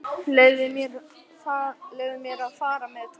Leyfðu mér að fara með Thomas.